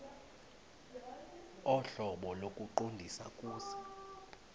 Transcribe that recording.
ohlobo lokuqondisa kuse